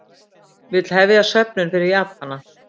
Vill hefja söfnun fyrir Japana